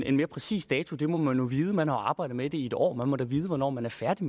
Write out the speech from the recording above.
en mere præcis dato det må man jo vide man har arbejdet med det i et år man må da vide hvornår man er færdig